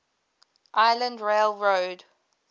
island rail road